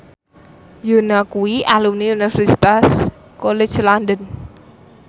Yoona kuwi alumni Universitas College London